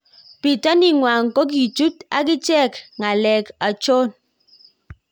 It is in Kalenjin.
Pitanii kwang kokijut agichek galek achon?